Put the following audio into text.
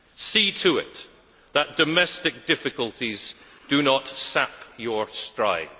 See to it that domestic difficulties do not sap your stride.